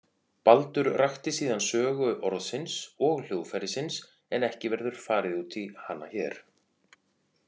Baldur rakti síðan sögu orðsins og hljóðfærisins en ekki verður farið út í hana hér.